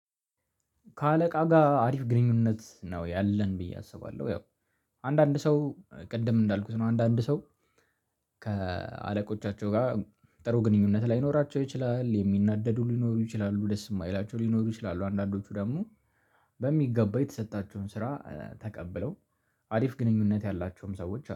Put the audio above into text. ከአለቃ ጋር አሪፍ ግንኙነት ነው ያለን ብዬ አስባለሁ። ያው አንዳንድ ሰው ቅድም እንዳልኩት ነው። አንዳንድ ሰው ከአለቆቻቸው ጋር ጥሩ ግንኙነት ላይኖራቸው ይችላል የሚናደዱ ሊኖሩ ይችላሉ ደስ የማይላቸው ሊኖሩ ይችላሉ። አንዳንዶቹ ደግሞ በሚገባው የተሰጣቸውን ስራ ተቀብለው አሪፍ ግንኙነት ያላቸውም ሰዎች